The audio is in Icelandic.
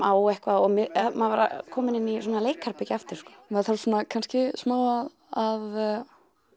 á eitthvað maður er kominn inn í leikherbergi aftur maður þarf svona kannski smá að